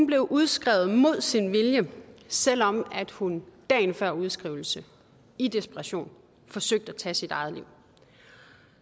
blev udskrevet mod sin vilje selv om hun dagen før udskrivelsen i desperation forsøgte at tage sit eget liv